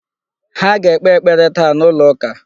Ha ga-ekpe ekpere taa n'ụlọ ụka..